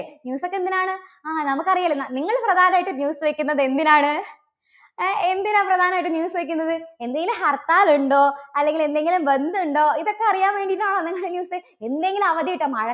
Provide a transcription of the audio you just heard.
ആ നമുക്ക് അറിയാല്ലോ. നിങ്ങള് പ്രധാനായിട്ടും news വയ്ക്കുന്നത് എന്തിനാണ്? ഏഹ് എന്തിനാണ് പ്രധാനമായിട്ടും news വയ്ക്കുന്നത്? എന്തെങ്കിലും ഹർത്താൽ ഉണ്ടോ അല്ലെങ്കിൽ എന്തെങ്കിലും ബന്ദുണ്ടോ? ഇതൊക്കെ അറിയാൻ വേണ്ടിയിട്ടാണോ നിങ്ങള് news എന്തെങ്കിലും അവധി കിട്ടാൻ മഴ~